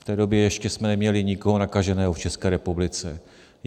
V té době jsme ještě neměli nikoho nakaženého v České republice.